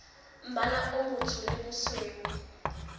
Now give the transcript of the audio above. mmala o motsho le bosweu